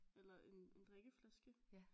Eller en en drikkeflaske